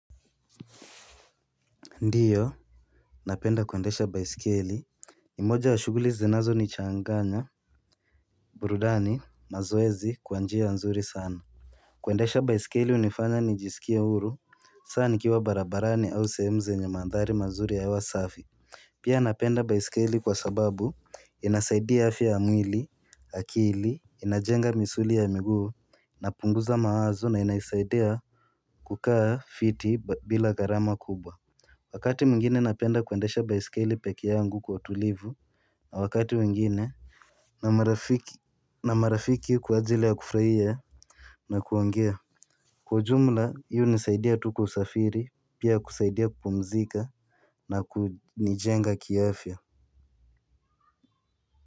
Ndio, napenda kuendesha baisikeli, ni moja ya shughuli zinazonichanganya, burudani, mazoezi, kwa njia nzuri sana. Kuendesha baisikeli hunifanya nijisikie huru, hasa nikiwa barabarani au sehemu zenye mandhari mazuri ya hewa safi. Pia napenda baisikeli kwa sababu, inasaidia afya ya mwili, akili, inajenga misuli ya miguu, na punguza mawazo na inaisaidia kukaa fiti bila gharama kubwa. Wakati mwingine napenda kuendesha baisikeli pekee yangu kwa utulivu. Na wakati mwigine na marafiki kwa ajili ya kufurahia na kuongea. Kwa ujumla hiu hunisaidia tu kwa usafiri pia ya kusaidia kupumzika na kunijenga kiafya.